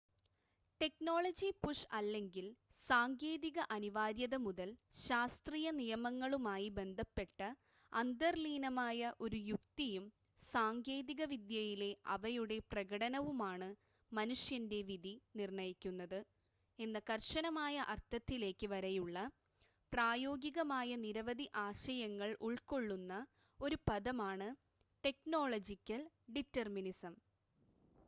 technology-push അല്ലെങ്കിൽ സാങ്കേതിക അനിവാര്യത മുതൽ ശാസ്ത്രീയ നിയമങ്ങളുമായി ബന്ധപ്പെട്ട അന്തർലീനമായ ഒരു യുക്തിയും സാങ്കേതിക വിദ്യയിലെ അവയുടെ പ്രകടനവുമാണ് മനുഷ്യൻ്റെ വിധി നിർണ്ണയിക്കുന്നത് എന്ന കർശനമായ അർത്ഥത്തിലേക്ക് വരെയുള്ള പ്രായോഗികമായ നിരവധി ആശയങ്ങൾ ഉൾകൊള്ളുന്ന ഒരു പദമാണ് ടെക്നോളജിക്കൽ ഡിറ്റെർമിനിസം